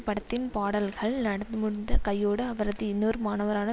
படத்தின் பாடல்கள் நடந்துமுடிந்த கையோடு அவரது இன்னொரு மாணவரான